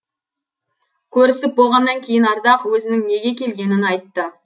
көрісіп болғаннан кейін ардақ өзінің неге келгенін айтты